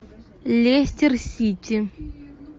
лестер сити